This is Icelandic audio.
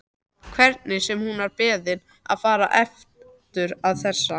Hvernig sem hún var beðin að fara aftur með þessa